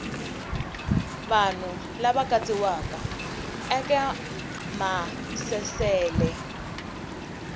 vanhu lava katsiwaka eka maasesele